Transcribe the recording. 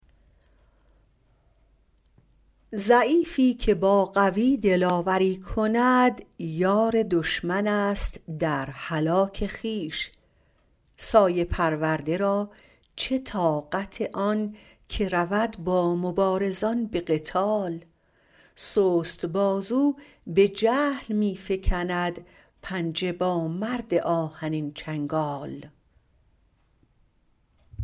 ضعیفی که با قوی دلاوری کند یار دشمن است در هلاک خویش سایه پرورده را چه طاقت آن که رود با مبارزان به قتال سست بازو به جهل می فکند پنجه با مرد آهنین چنگال